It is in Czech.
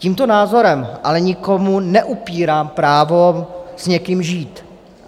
Tímto názorem ale nikomu neupírám právo s někým žít.